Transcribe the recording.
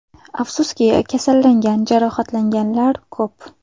Afsuski kasallangan, jarohatlanganlar ko‘p.